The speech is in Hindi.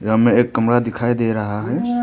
हमें एक कमरा दिखाई दे रहा है।